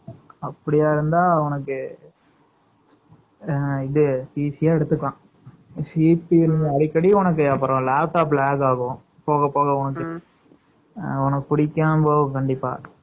night ல use பண்ற மாரி, போதும். அப்படியா இருந்தா, உனக்கு, 9 . அ, இது easy ஆ எடுத்துக்கலாம். அடிக்கடி உனக்கு, அப்புறம் laptop lag ஆகும். போக, போக உனக்குஅ, உனக்கு பிடிக்காம போ, கண்டிப்பா. இருந்தா,